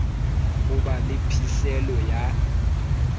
ho ba le phihlelo ya